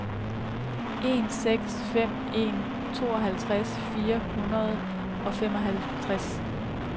en seks fem en tooghalvtreds fire hundrede og femoghalvtreds